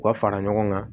U ka fara ɲɔgɔn kan